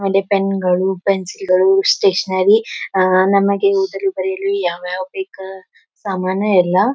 ಒಂದೇ ಪೆನ್ ಗಳು ಪೆನ್ಸಿಲ್ ಗಳು ಸ್ಟೇಷನರಿ ಅಹ್ ನಮಗೆ ಇದರಲ್ಲಿಓದಾಕ್ ಬರೆಯಲು ಯಾವ್ ಯಾವ್ ಬೇಕ್ ಸಾಮಾನು ಎಲ್ಲಾ.--